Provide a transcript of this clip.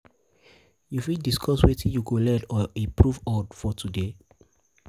you fit discuss wetin you go learn or improve on for today?